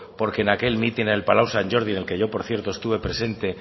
porque en aquel mitin en el palau sant jordi en el que yo por cierto estuve presente